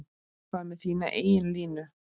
Hvað með þína eigin línu?